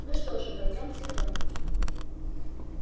ну что же пойдёмте в дом